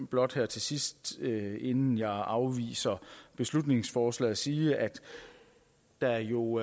blot her til sidst inden jeg afviser beslutningsforslaget sige at der jo